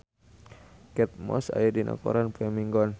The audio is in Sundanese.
Kate Moss aya dina koran poe Minggon